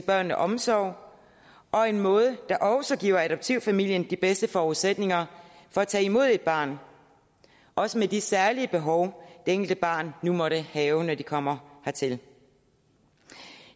børnene omsorg og en måde der også giver adoptivfamilien de bedste forudsætninger for at tage imod et barn også med de særlige behov det enkelte barn nu måtte have når det kommer her til